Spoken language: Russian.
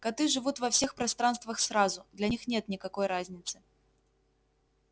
коты живут во всех пространствах сразу для них нет никакой разницы